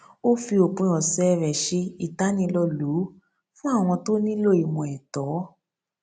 ó fi òpin ọsẹ rẹ ṣe ìtànilólùú fún àwọn tó nílò ìmọ ẹtọ